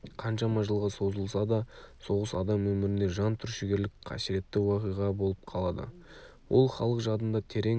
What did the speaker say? қаншама жылға созылса да соғыс адам өмірінде жан түршігерлік қасіретті уақиға болып қалады ол халық жадында терең із